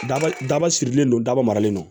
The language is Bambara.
Daba daba sirilen don daba maralen don